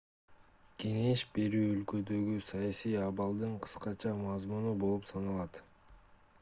кеңеш берүү өлкөдөгү саясий абалдын кыскача мазмуну болуп саналат